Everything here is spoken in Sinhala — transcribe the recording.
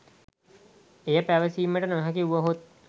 එය සැපයීමට නොහැකි වුවහොත්